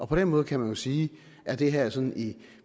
på den måde kan man jo sige at det her sådan i